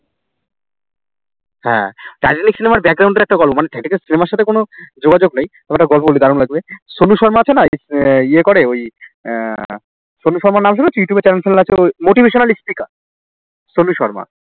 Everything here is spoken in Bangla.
হ্যাঁ টাইটানিক cinema র এ একটা গল্প মানে এই যে সিনেমার সাথে কোন যোগাযোগ নেই তোমাকে একটা গল্প বলি দারুন লাগবে। সনু শর্মা আছে না এই ইয়ে করে ওই আহ সনু শর্মার নাম শুনেছো youtube এ channel ট্যানেল আছে ওর motivational speaker সনু শর্মা